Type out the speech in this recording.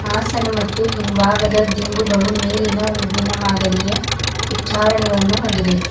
ಹಾಸನ ಮತ್ತು ಹಿಂಭಾಗದ ದಿಂಬುಗಳು ಮೇಲಿನ ಹೂವಿನ ಮಾದರಿಯೇ ಉಚ್ಚಾರಣೆಗಳನ್ನು ಹೊಂದಿದೆ.